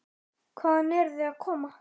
Hvaðan eru þau að koma?